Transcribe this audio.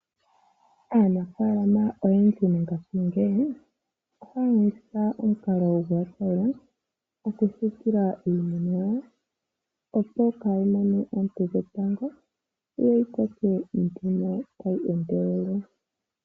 Aanafaalama oyendji ngashingeyi ohaya longitha omukalo goothayila okusiikila iimeno yawo, opo kaayi mone oonte dhetango yo yi koke tayi endelele.